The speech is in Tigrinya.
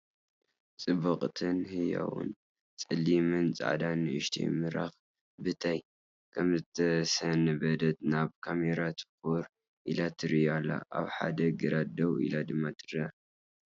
ጽብቕትን ህያውን ጸሊምን ጻዕዳን ንእሽተይ ምራኽ/ ብተይ ከምዝሰንበደት ናብ ካሜራ ትኩር ኢላ ትሪ ኣላ፡፡ ኣብ ሓደ ግራት ደው ኢላ ድማ ትርአ።